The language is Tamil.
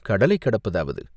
கடலைக் கடப்பதாவது?